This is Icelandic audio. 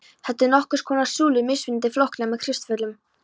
Þetta eru nokkurs konar súlur, mismunandi flóknar með kristöllum.